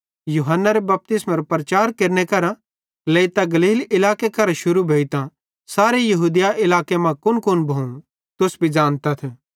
यूहन्नारे बपतिस्मेरो प्रचार केरने करां लेइतां गलील इलाके करां शुरू भोइतां सारे यहूदिया इलाके मां कुनकुन भोवं तुस भी ज़ानतथ